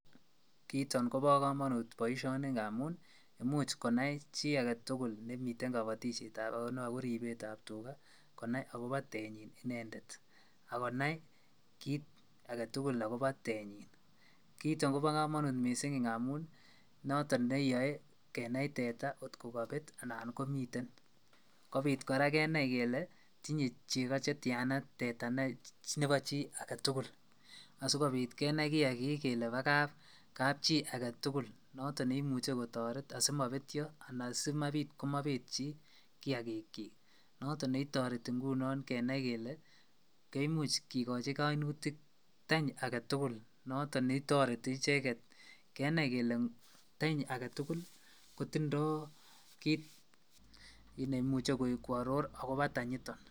Kiiton kobokomonut boishoni ng'amun imuch konai chii aketukul nemiten kobotishetab akobo ribetab tukaa konai akobo tenyi inendet ak konai kiit aketukul ak kobo tenyin kiiton kobo komonut mising ng'amun noton neyoe kenai tetaa kot kobet anan komiten, kobiit kora kenai kelee tinyee cheko chetiana nebo chii aketukul asikobiit kenai kiakik kelee bo kapchii aketukul noton neimuche kotoret asimobetyo anan simabiit komobet chii kiakikyik noton netoreti ng'unon kenai kelee koimuch kikoi koimutik tany aketukul noton netoreti icheket kenai kelee tany aketukul kotindo kiit neimuche kworor akobo tanyiton.